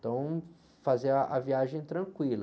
Então, fazer a, a viagem tranquila.